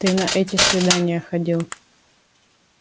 ты на эти свидания ходил